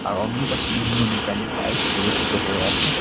আর অন্য পাশে বিভিন্ন ডিজাইনের টাইলস প্রদর্শিত হয়ে আছে।